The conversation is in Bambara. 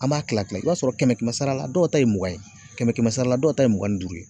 An b'a tila tila. I b'a sɔrɔ kɛmɛ-kɛmɛ sara la dɔw ta ye mugan ye. Kɛmɛ-kɛmɛ sara la dɔw ta ye mugan ni duuru ye.